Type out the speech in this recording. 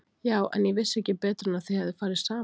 Já en. ég vissi ekki betur en að þið hefðuð farið saman.